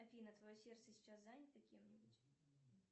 афина твое сердце сейчас занято кем нибудь